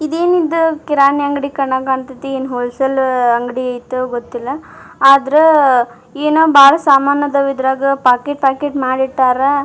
ಇದೇನಿದು ಕಿರಾಣಿ ಅಂಗಡಿ ಕಂಡಗ್ ಕಾಂತೈತಿ ಏನ್ ಹೋಲಅ ಸೇಲ್ ಅಂಗಡಿ ಐತೊ ಗೊತ್ತಿಲ್ಲಾ ಆದ್ರಾ ಏನೋ ಬಾಳ್ ಸಾಮಾನ್ ಇದವ್ ಇದ್ರಗ್ ಪ್ಯಾಕೆಟ್ ಪ್ಯಾಕೆಟ್ ಮಾಡಿ ಇಟ್ಟಾರ್.